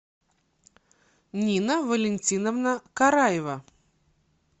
нина валентиновна караева